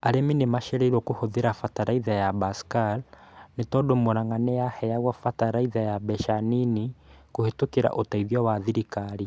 Arĩmi nĩ macereirwo kũhũthĩra bataraitha ya basal nĩ tondũ Murang'a nĩ yaheagwo bataraitha ya mbeca nini kuhĩtũkira ũteithio wa thirikari.